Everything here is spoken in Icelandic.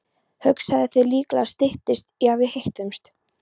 Hugsaðu þér, líklega styttist í að við hittumst.